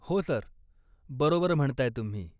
हो सर, बरोबर म्हणताय तुम्ही.